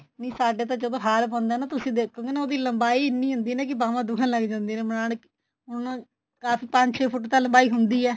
ਨੀ ਸਾਡੇ ਤਾਂ ਜਦੋਂ ਹਾਰ ਪਾਉਣੇ ਏ ਨਾ ਤੁਸੀਂ ਦੇਖੋਗੇ ਨਾ ਉਹਦੀ ਲੰਬਾਈ ਇੰਨੀ ਹੁੰਦੀ ਏ ਕੀ ਬਾਵਾ ਦੁੱਖਣ ਲੱਗ ਜਾਂਦੀਆਂ ਨੇ ਬਣਾਨ ਹੁਣ ਕਾਫੀ ਪੰਜ ਛੇ ਫੁੱਟ ਤਾਂ ਲੰਬਾਈ ਹੁੰਦੀ ਏ